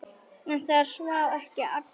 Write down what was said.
En það sváfu ekki allir.